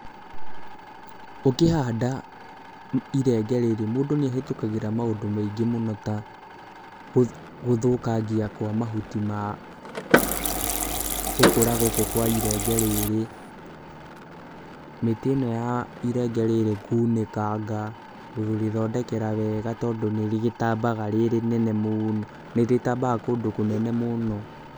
Ũkĩhanda irenge rĩrĩ, mũndũ nĩ ahĩtũkagĩra maũndũ maingĩ mũno ta gũthũkangia kwa mahuti ma gũkũra gũkũ kwa irenge rĩrĩ, mĩtĩ ĩno ya irenge rĩrĩ kũnĩkanga, kũrĩthondekera wega tondũ nĩ rĩgĩtambaga rĩ rĩnene mũno, nĩ rĩtambaga kũndũ kũnene mũno.